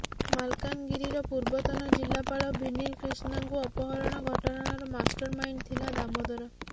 ମାଲକାନଗିରିର ପୂର୍ବତନ ଜିଲ୍ଲାପାଳ ଭିନିଲ କ୍ରିଷ୍ଣାଙ୍କୁ ଅପହରଣ ଘଟଣାର ମାଷ୍ଟର ମାଇଣ୍ଡ ଥିଲା ଦାମୋଦର